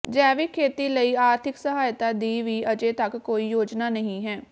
ਜੈਵਿਕ ਖੇਤੀ ਲਈ ਆਰਥਿਕ ਸਹਾਇਤਾ ਦੀ ਵੀ ਅਜੇ ਤੱਕ ਕੋਈ ਯੋਜਨਾ ਨਹੀਂ ਹੈ